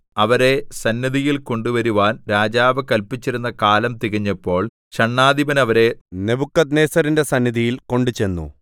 അവരെ സന്നിധിയിൽ കൊണ്ടുവരുവാൻ രാജാവ് കല്പിച്ചിരുന്ന കാലം തികഞ്ഞപ്പോൾ ഷണ്ഡാധിപൻ അവരെ നെബൂഖദ്നേസരിന്റെ സന്നിധിയിൽ കൊണ്ടുചെന്നു